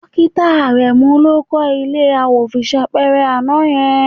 Dókítà Àrẹ̀mú ló kọ́ ilé àwòṣífìlà àná yẹn